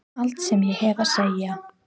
Allt sem ég hef að segja?